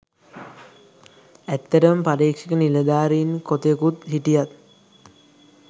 ඇත්තටම පරීක්ෂක නිලධාරීන් කොතෙකුත් හිටියත්